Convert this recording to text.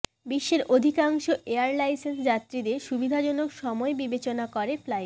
বিশ্বের অধিকাংশ এয়ারলাইন্সই যাত্রীদের সুবিধাজনক সময় বিবেচনা করে ফ্লাইট